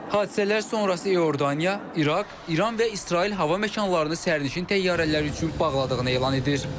Hadisələr sonrası Ürdanya, İraq, İran və İsrail hava məkanlarını sərnişin təyyarələri üçün bağladığını elan edir.